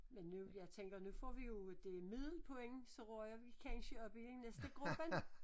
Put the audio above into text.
Men nu jeg tænker nu får vi jo det middel så ryger vi kansje op i næste gruppen